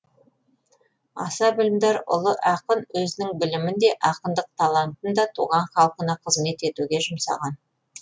аса білімдар ұлы ақын өзінің білімін де ақындық талантын да туған халқына қызмет етуге жұмсаған